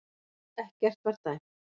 Ekkert var dæmt